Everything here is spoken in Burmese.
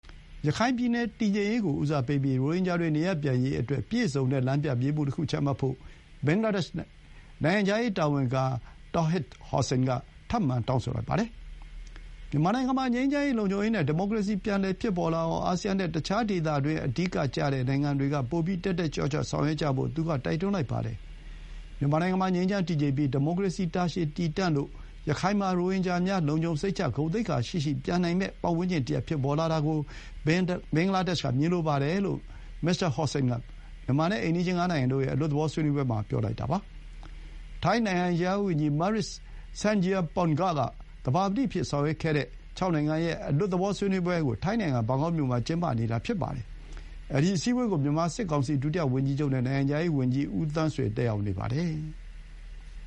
ရခိုင်ပြည်နယ် တည်ငြိမ်ရေး ကို ဦးစားပေးပြီး ရိုဟင်ဂျာတွေ နေရပ်ပြန်ရေးအတွက် ပြည့်စုံတဲ့ လမ်းပြမြေပုံတစ်ခု ချမှတ်ဖို့ ဘင်္ဂလားဒေ့ရှ် နိုင်ငံခြားရေး ဝန်ကြီး Md Touhid Hossain က ထပ်မံ တောင်းဆိုလိုက်ပါတယ်။ မြန်မာနိုင်ငံမှာ ငြိမ်းချမ်းရေး၊ လုံခြုံရေ နဲ့ ဒီမိုကရေစီ ပြန်လည် ဖြစ်ပေါ်လာအောင် အာဆီယန်နဲ့ တခြား ဒေသတွင်း အဓိက ကျတဲ့နိုင်ငံတွေက ပိုပြီး တက်တက်ကြွကြွ ဆောင်ရွက်ကြဖို့ သူက တိုက်တွန်းလိုက်ပါတယ်။ မြန်မာနိုင်ငံမှာ ငြိမ်းချမ်း၊ တည်ငြိမ်ပြီး၊ ဒီမိုကရေစီ တာရှည်တည်တံ့ပြီး ရခိုင်မှာ ရိုဟင်ဂျာများ လုံခြုံစိတ်ချ၊ ဂုဏ်သိက္ခာရှိရှိ ပြန်နိုင်မယ့် ပတ်ဝန်းကျင်တရပ် ဖြစ်ပေါ်လာ တာ ကို ဘင်္ဂလားဒေ့ရှ်က မြင်လိုပါတယ်လို့ မစ္စတာ Hossain က မြန်မာနဲ့ အိမ်နီးချင်း ငါးနိုင်ငံ တို့ရဲ့ အလွတ်သဘော ဆွေးနွေးပွဲ မှာ ပြောပါတယ်။ ထိုင်းနိုင်ငံခြားရေးဝန်ကြီး Maris Sangiampongsa က သဘာပတိအဖြစ် ဆောင်ရွက်တဲ့ ၆ နိုင်ငံ အလွတ်သဘော ဆွေးနွေးပွဲကို ထိုင်းနိုင်ငံ ဘန်ကောက်မြို့မှာ ကျင်းပနေတာ ဖြစ်ပါတယ်။ အဲဒီ အစည်းအဝေးကို မြန်မာ စစ်ကောင်စီ ဒုတိယ ဝန်ကြီးချုပ် နဲ့ နိုင်ငံခြားရေး ဝန်ကြီး ဦးသန်းဆွေ တက်ရောက်နေပါတယ်။